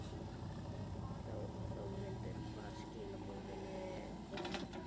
Þórhildur: Hvaða skilaboðum viljið þið koma til fólks?